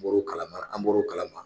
bɔr'u kalama an bɔr'u kalama.